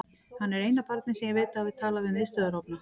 Hann er eina barnið sem ég veit að hafi talað við miðstöðvarofna.